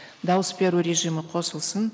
дауыс беру режимі қосылсын